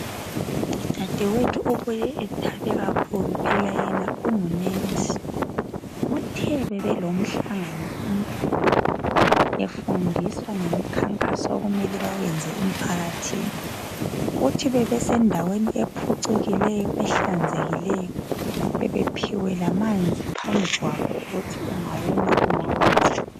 Udadewethu ubuye ethabe kakhulu, phela yena ungunensi. Uthe bebelomhlangano omkhulu befundiswa ngemikhankaso okumele bawenze emphakathini. Uthi bebesendaweni ephucukileyo, ehlanzekileyo, bebephiwe lamanzi phambi kwabo ukuthi ungawoma unathe.